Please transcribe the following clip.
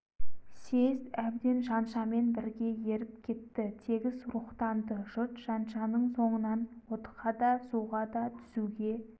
съезд әбден жаншамен бірге еріп кетті тегіс рухтанды жұрт жаншаның соңынан отқа да суға да түсуге